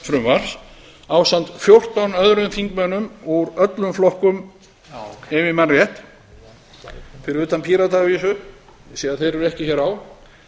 frumvarps ásamt fjórtán öðrum þingmönnum úr öllum flokkum ef ég man rétt fyrir utan pírata að vísu ég sé að þeir eru ekki hér á